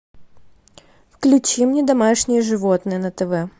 включи мне домашние животные на тв